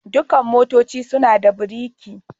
Dukan motoci suna da biriki.